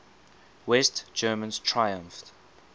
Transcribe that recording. west germans triumphed